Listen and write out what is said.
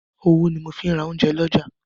Owó ni mo ń fi ra oúnjẹ lọ́jà.